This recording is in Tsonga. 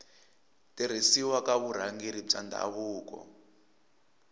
tirhisiwa ka vurhangeri bya ndhavuko